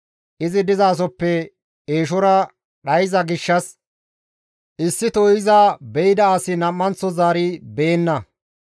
Izi dizasoppe eeshora dhayza gishshas, issito iza be7ida as nam7anththo zaari beyenna.